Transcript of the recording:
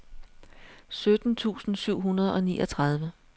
sytten tusind syv hundrede og niogtredive